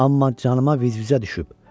Amma canıma vızvızə düşüb.